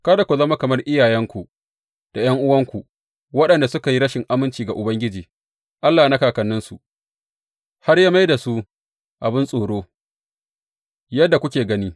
Kada ku zama kamar iyayenku da ’yan’uwanku, waɗanda suka yi rashin aminci ga Ubangiji Allah na kakanninsu, har ya mai da su abin tsoro, yadda kuke gani.